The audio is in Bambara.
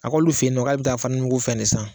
A k'olu fe yen nɔ k'ale bi taa fɛn de san